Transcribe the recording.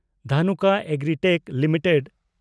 Dhanuka Agritech limited